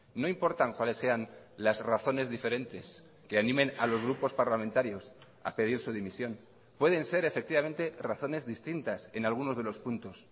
no importan cuáles sean las razones diferentes que animen a los grupos parlamentarios a pedir su dimisión pueden ser efectivamente razones distintas en algunos de los puntos